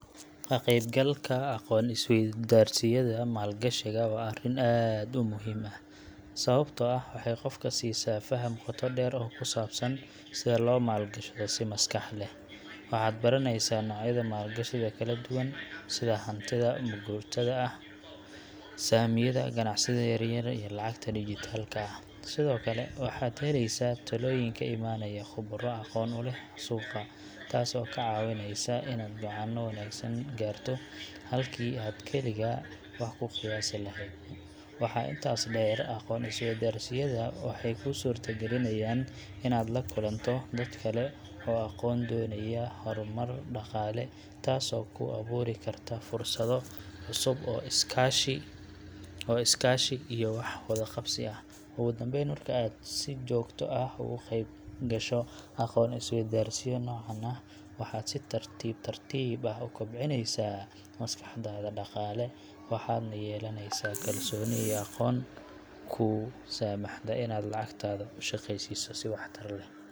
Ka qaybgalka aqoon-is-weydaarsiyada maalgashiga waa arrin aad u muhiim ah, sababtoo ah waxay qofka siisaa faham qoto dheer oo ku saabsan sida loo maalgashado si maskax leh. Waxaad baranaysaa noocyada maalgashiga kala duwan sida hantida maguurtada ah, saamiyada, ganacsiyada yaryar iyo lacagta digital-ka ah. Sidoo kale, waxaad helaysaa talooyin ka imanaya khuburo aqoon u leh suuqa, taas oo kaa caawinaysa inaad go’aanno wanaagsan gaarto, halkii aad keligaa wax ku qiyaasi lahayd. Waxaa intaas dheer, aqoon-is-weydaarsiyada waxay kuu suurtagelinayaan inaad la kulanto dad kale oo daneeya horumar dhaqaale, taasoo kuu abuuri karta fursado cusub oo iskaashi iyo wax wada qabsi ah. Ugu dambeyn, marka aad si joogto ah uga qayb gasho aqoon-is-weydaarsiyo noocan ah, waxaad si tartiib tartiib ah u kobcinaysaa maskaxdaada dhaqaale, waxaadna yeelanaysaa kalsooni iyo aqoon kuu saamaxda inaad lacagtaada u shaqaysiiso si waxtar leh.